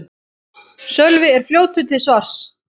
Sölvi er fljótur til svars.